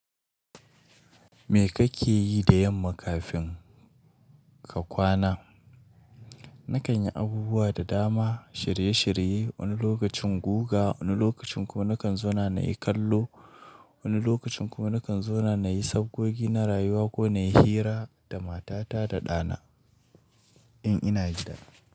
Me kake yi da yamma kafin ka kwana? Na kan yi abubuwa da dama, shirye shirye, wani lokacin guga, wani lokacin kuma na kan zauna na yi kallo, wani lokacin kuma na kan zauna na yi sabgogi na rayuwa ko na yi hira da matata da ɗana in ina gida.